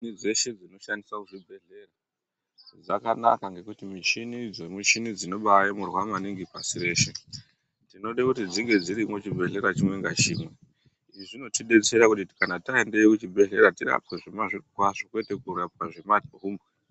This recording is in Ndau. Michini dzeshe dzinoshandiswe kuzvibhehlera dzakanaka ngekuti michini idzi michini dzinobaaemurwa maningi pashi reshe tinode kuti dzinge muchibhehleya chimwe ngachimwe izvi zvinotidetsera kuti kana taendewyo kuzvibhehleya tirapwe zvemazvirokwazvo kwete kurapwa zvemahumbwe.